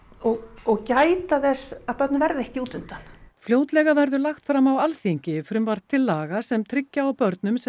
og og gæta þess að börnin verði ekki út undan fljótlega verður lagt fram á Alþingi frumvarp til laga sem tryggja á börnum sem